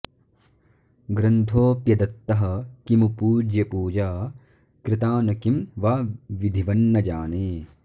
ग्रन्थोऽप्यदत्तः किमु पूज्यपूजा कृता न किं वा विधिवन्न जाने